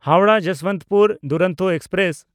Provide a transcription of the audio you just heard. Howrah Yesvantpur Duronto express